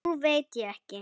Nú veit ég ekki.